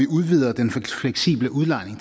udvider den fleksible udlejning